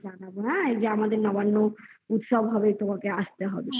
এই যে আমাদের নবান্ন উৎসব হবে তোমাকে আসতে হবে